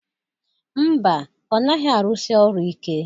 Ḿbà, ọ naghị arụsị ọru ike.